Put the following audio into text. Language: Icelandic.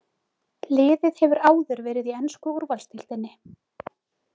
Liðið hefur áður verið í ensku úrvalsdeildinni.